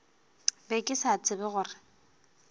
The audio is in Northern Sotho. be ke sa tsebe gore